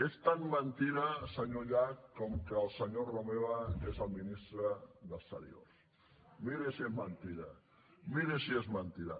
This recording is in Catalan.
és tan mentida senyor llach com que el senyor romeva és el ministre d’exteriors miri si és mentida miri si és mentida